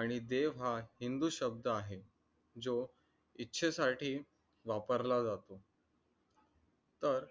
आणि देव हा हिंदू शब्द आहे, जो इच्छे साठी वापरला जातो. तर